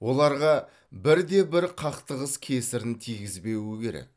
оларға бірде де бір қақтығыс кесірін тигізбеуі керек